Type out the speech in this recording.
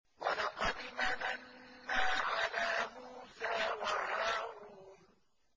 وَلَقَدْ مَنَنَّا عَلَىٰ مُوسَىٰ وَهَارُونَ